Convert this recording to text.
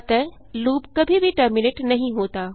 अतः लूप कभी भी टर्मिनेट नहीं होता